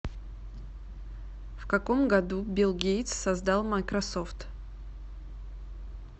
в каком году билл гейтс создал майкрософт